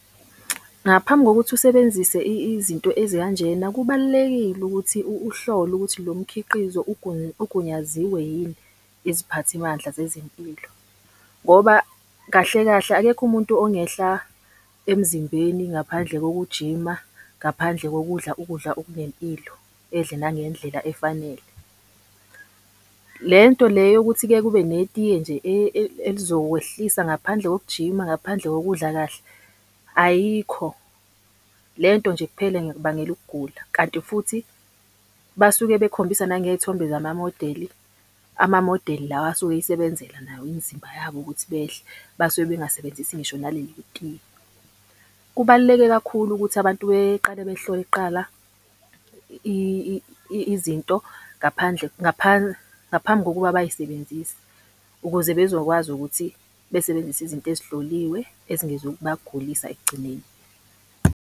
Ngaphambi kokuthi usebenzise izinto ezikanjena kubalulekile ukuthi uhlole ukuthi lo mkhiqizo ugunyaziwe yini iziphathimandla zezempilo. Ngoba kahle kahle akekho umuntu ongehla emzimbeni ngaphandle kokujima, ngaphandle kokudla ukudla okunempilo, edle nangendlela efanele. Le nto le yokuthi-ke kube netiye nje elizokwehlisa ngaphandle kokujima, ngaphandle kokudla kahle, ayikho. Le nto nje kuphela ingakubangela ukugula. Kanti futhi basuke bekhombisa nangey'thombe zamamodeli, amamodeli lawa asuke eyisebenzela nawo imizimba yabo ukuthi behle, basuke bengasebenzisi ngisho naleli tiye. Kubaluleke kakhulu ukuthi abantu beqale behlole kuqala izinto ngaphandle, ngaphambi kokuba bayisebenzise, ukuze bezokwazi ukuthi besebenzise izinto ezihloliwe ezingezukubagulisa ekugcineni.